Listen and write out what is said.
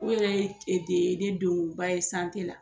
O yɛrɛ de ye ne donba ye la